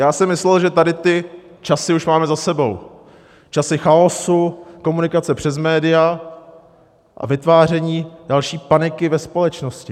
Já jsem myslel, že tady ty časy už máme za sebou, časy chaosu, komunikace přes média a vytváření další paniky ve společnosti.